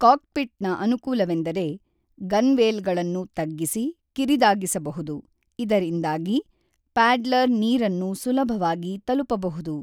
ಕಾಕ್ಪಿಟ್‌ನ ಅನುಕೂಲವೆಂದರೆ ಗನ್‌ವೇಲ್‌ಗಳನ್ನು ತಗ್ಗಿಸಿ ಕಿರಿದಾಗಿಸಬಹುದು, ಇದರಿಂದಾಗಿ ಪ್ಯಾಡ್ಲರ್ ನೀರನ್ನು ಸುಲಭವಾಗಿ ತಲುಪಬಹುದು.